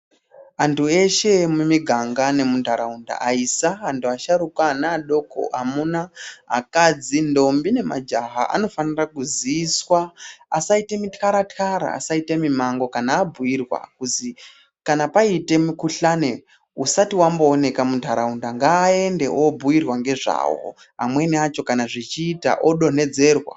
Antu eshe emuniganga nemuntaraunda akurisa asharuka, ana adoko, akadzi ntombi nemajaha anofana kuziiswa asaita mutyaratyara, asaita mimango kana abhuyirwa kuti kana paite mikhuhlane usati wamboonekwa muntaraunda ngaende obhuyirwa ngezvawo amweni acho kana zvechiita odonhedzerwa.